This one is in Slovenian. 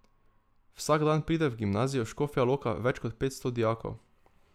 Vsak dan pride v Gimnazijo Škofja Loka več kot petsto dijakov.